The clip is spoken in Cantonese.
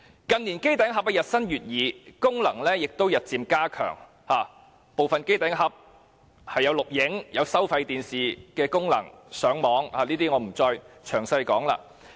近年機頂盒日新月異，功能亦日漸加強，部分機頂盒更具有錄影、收看收費電視和上網的功能，我不會再詳細論述。